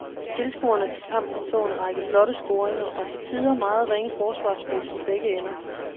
Tilskuerne til kampen så en række flotte scoringer og til tider meget ringe forsvarsspil i begge ender.